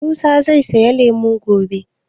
Musa zai saya lemu gobe?